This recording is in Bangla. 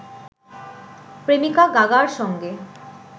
প্রেমিকা গাগার সঙ্গে